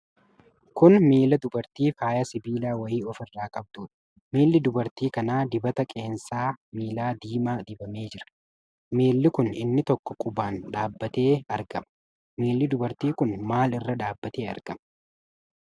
Kun miila dubartii faaya sibiilaa wayii of irraa qabduudha. Miilli dubartii kanaa dibata qeensa miilaa diimaa dibamee jira. miilli kun inni tokko qubaan dhaabatee argama. Miilli dubartii kun maal irra dhaabatee argama?